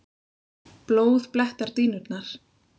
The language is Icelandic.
Blóð blettar dýnurnar.